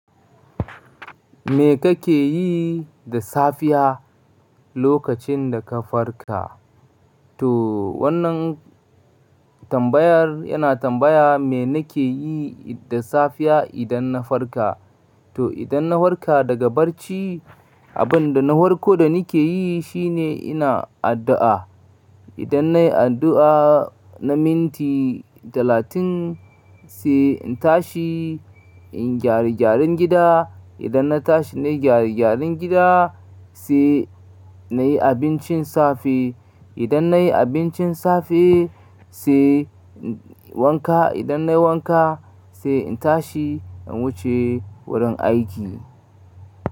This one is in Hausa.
Me kake yi da safiya lokacin da ka farka? To wannan tambayar yana tambaya me nake yi da safiya idan na farka. To idan na farka daga barci, abin da na farko da nake yi shine ina addu'a. Idan nayi addu'a na minti talatin, sai in tashi in gyare gyaren gida. Idan na tashi nayi gyare gyaren gida sai nayi abincin safe. Idan nayi abincin safe sai wanka. Idan nayi wanka sai in tashi in wuce wurin aiki.